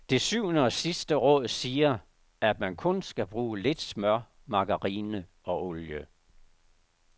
Det syvende og sidste råd siger, at man kun skal bruge lidt smør, margarine og olie.